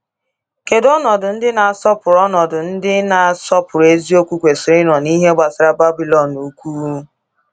Kedu ọnọdụ ndị na-asọpụrụ ọnọdụ ndị na-asọpụrụ eziokwu kwesịrị ịnọ n’ihe gbasara Babilọn Ukwu?